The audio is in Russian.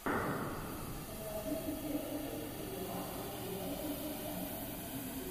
покажи мне ф точка юа о девайсах понятным языком ютуб